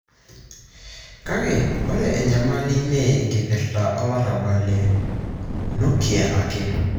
Kake ore enyamali mee enkipirta olarabal le nuklia ake.